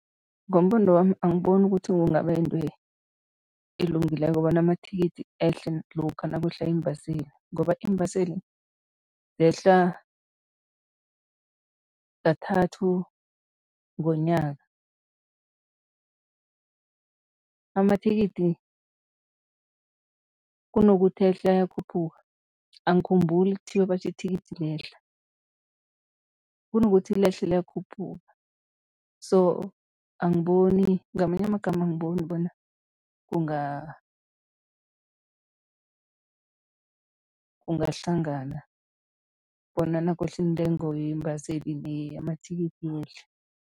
Ngombono wami, angiboni ukuthi kungaba yinto elungileko bona amathikithi ehle lokha nakwehla iimbaseli ngoba iimbaseli zehla kathathu ngonyaka. Amathikithi kunokuthi ehle, ayakhuphuka, angikhumbuli kuthiwa batjho ithikithi liyehla, kunokuthi lehle liyakhuphuka so angiboni, ngamanye amagama angiboni bona kungahlangana bona nakwehla iintengo yeembaseli neyamathikithi yehle.